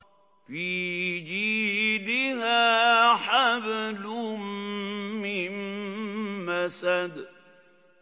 فِي جِيدِهَا حَبْلٌ مِّن مَّسَدٍ